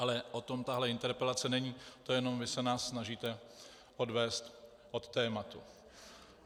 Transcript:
Ale o tom tahle interpelace není, to jenom vy se nás snažíte odvést od tématu.